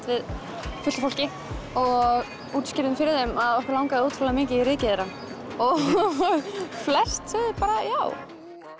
við fullt af fólki og útskýrðum fyrir þeim að okkur langaði ótrúlega mikið í rykið þeirra og flest sögðu bara já